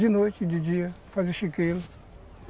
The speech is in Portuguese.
De noite, de dia, fazia chiqueiro.